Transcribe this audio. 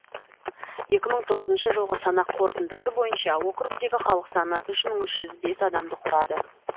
екі мың тоғызыншы жылғы санақ қорытындысы бойынша округтегі халық саны үш мың үш жүзбес адамды құрады